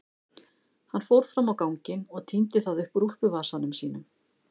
Hann fór fram á ganginn og tíndi það upp úr úlpuvasanum sínum.